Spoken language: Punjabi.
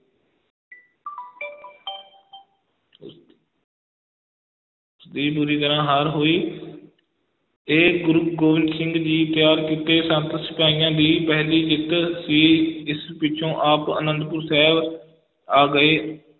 ਦੀ ਬੁਰੀ ਤਰ੍ਹਾਂ ਹਾਰ ਹੋਈ ਤੇ ਗੁਰੂ ਗੋਬਿੰਦ ਸਿੰਘ ਜੀ ਤਿਆਰ ਕੀਤੇ ਸੰਤ ਸਿਪਾਹੀਆਂ ਦੀ ਪਹਿਲੀ ਜਿੱਤ ਸੀ, ਇਸ ਪਿਛੋਂ ਆਪ ਆਨੰਦਪੁਰ ਸਾਹਿਬ ਆ ਗਏ।